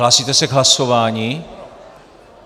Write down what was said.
Hlásíte se k hlasování?